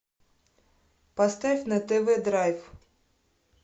поставь на тв драйв